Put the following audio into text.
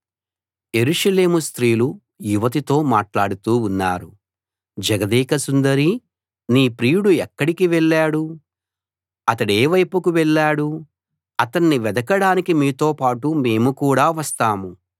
యెరూషలేము స్త్రీలు యువతితో మాట్లాడుతూ ఉన్నారు జగదేక సుందరీ నీ ప్రియుడు ఎక్కడికి వెళ్ళాడు అతడేవైపుకు వెళ్ళాడు అతన్ని వెదకడానికి మీతో పాటు మేము కూడా వస్తాము